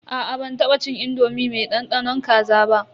Aa ban taba cin indomi mai dandanon kaza ba.